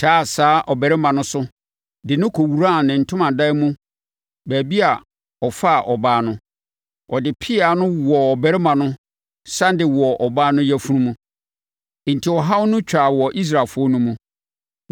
taa saa ɔbarima no so de no kɔwuraa ne ntomadan mu baabi a ɔfaa ɔbaa no. Ɔde pea no wowɔɔ ɔbarima no sane de wɔɔ ɔbaa no yafunu mu. Enti, ɔhaw no to twaa wɔ Israelfoɔ no mu,